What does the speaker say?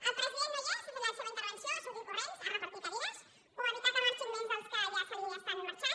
el president no hi és ha fet la seva intervenció ha sortit corrents a repartir cadires o a evitar que en marxin més dels que ja li estan marxant